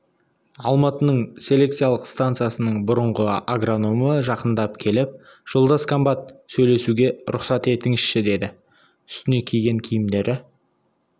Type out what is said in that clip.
алматының селекциялық станциясының бұрынғы агрономы жақындап келіп жолдас комбат сөйлесуге рұқсат етіңізші деді үстіне киген киімдері